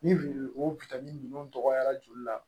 Ni o bitɔn ni nunnu dɔgɔyara joli la